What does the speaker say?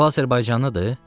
O azərbaycanlıdır?